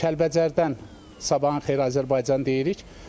Kəlbəcərdən sabahın xeyir Azərbaycan deyirik.